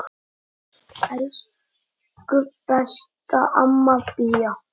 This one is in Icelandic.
Elsku besta amma Bía.